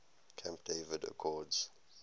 camp david accords